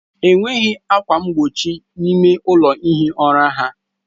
Enweghị ákwà mgbochi n'ime ụlọ ihi ụra ha.